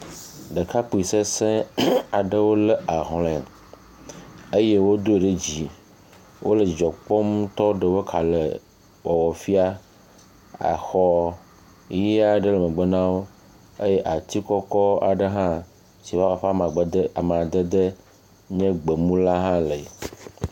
Ɖekakpui sesẽ aɖewo le ahlɔ̃e eye wodoe ɖe dzi. Wole dzidzɔ kpɔm ŋutɔ ɖe woƒe kalẽwɔwɔ fia. Exɔ ʋi aɖe le megbe na wo eye ati kɔkɔ aɖe hã si ƒe amadede nye gbemula hã li.